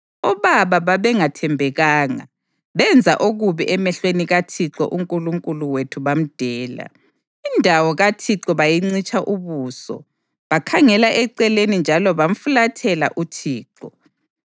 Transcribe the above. Obaba babengathembekanga; benza okubi emehlweni kaThixo uNkulunkulu wethu bamdela. Indawo kaThixo bayincitsha ubuso bakhangela eceleni njalo bamfulathela uThixo.